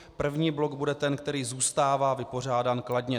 První blok bude ten, který zůstává vypořádán kladně.